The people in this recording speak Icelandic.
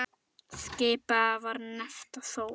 Skipið var nefnt Þór.